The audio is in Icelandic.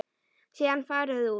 Síðan farið út.